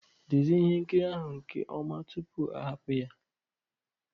Dezie ihe nkiri ahụ nke ọma tupu ahapụ ya